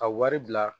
Ka wari bila